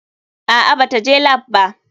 Aa bata je lap ba.